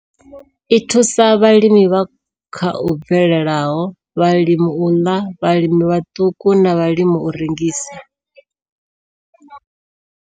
I thusa vhalimi vha kha u bvelelaho, vhalimela u ḽa, vhalimi vhaṱuku na vhalimela u rengisa.